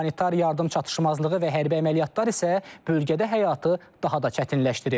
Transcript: Humanitar yardım çatışmazlığı və hərbi əməliyyatlar isə bölgədə həyatı daha da çətinləşdirir.